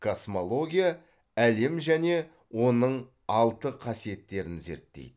космология әлем және оның алты қасиеттерін зерттейді